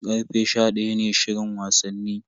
Karfe sha daya ne shirin wasanni.